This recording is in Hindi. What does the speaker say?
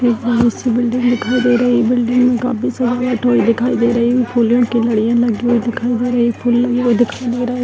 एक बड़ी सी बिल्डिंग दिखाई दे रही है | ये बिल्डिंग में काफी सारी वाइट दिखाई दे रही है | फूलें की लड़ियाँ लगी हुई दिखाई दे रही है | एक फूल लगा हुआ दिखाई दे रहा है |